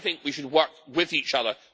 I think we should work with each other.